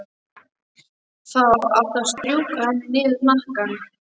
Þá áttu að strjúka henni niður hnakkann.